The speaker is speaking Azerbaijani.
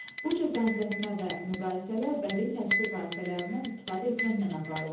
Bu cür bənzətmə və müqayisələr bədii təsvir vasitələrindən istifadə etməklə aparılır.